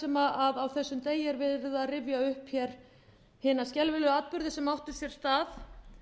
sem á þessum degi er verið að rifja upp hina skelfilegu atburði sem áttu sér stað þegar